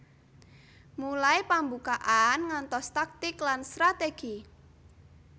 Mulai pambukaan ngantos taktik lan strategi